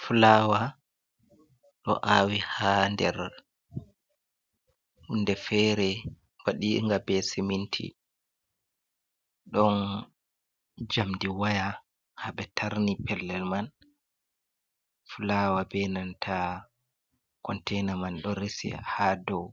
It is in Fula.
Fulawa ɗo awi ha nder hunde fere waɗinga be seminti, ɗon jamdi waya haɓetarni pellel man fulawa benanta containa man ɗon resi ha dou